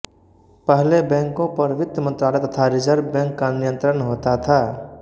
पहले बैंकों पर वित्त मंत्रालय तथा रिजर्व बैंक का नियंत्रण होता था